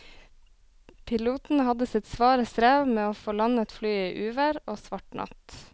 Piloten hadde sitt svare strev med å få landet flyet i uvær og svart natt.